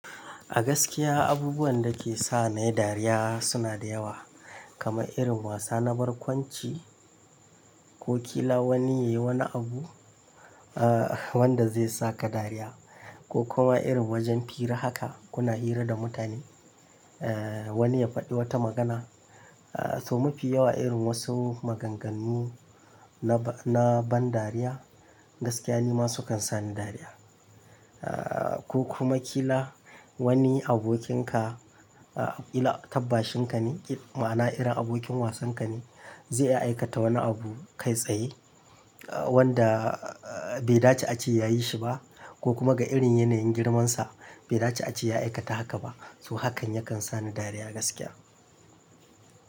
A gaskiya abubuwan da ke sa na yi dariya suna da yawa, kamar irin wasa na barkwanci ko kila wani ya yi wani abu, ah wanda zai saka dariya ko kuma irin wajen fira haka kuna hira da mutane, eh, wani ya faɗi wata magana. Ah toh ma fi yawa irin wasu maganganu na ban dariya gaskiya ni ma sukan sa ni dariya. Ah ko kuma kila wani abokinka, a illa tabbashin ka ne, ma'ana irin abokin wasan ka ne zai iya aikata wani abu kai tsaye wanda bai dace a ce ya yi shi ba ko kuma ga irin yanayin girmansa bai dace a ce ya aikata haka ba. To hakan yakan sa ni dariya gaskiya.